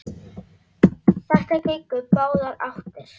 Þetta gengur í báðar áttir.